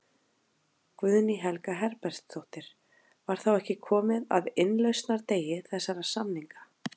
Guðný Helga Herbertsdóttir: Var þá ekki komið að innlausnardegi þessara samninga?